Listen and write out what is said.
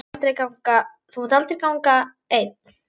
Þú munt aldrei ganga einn.